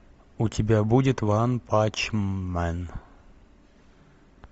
у тебя будет ван панч мен